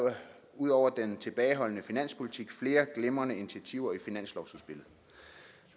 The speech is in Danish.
ud over den tilbageholdende finanspolitik flere glimrende initiativer i finanslovsudspillet